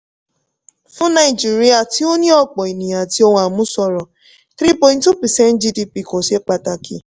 fún nàìjíríà tí ó ní ọ̀pọ̀ ènìyàn àti ohun àmúṣọrọ̀ three point two percent gdp kò ṣe pàtàkì.